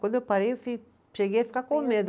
Quando eu parei, eu, cheguei a ficar com medo.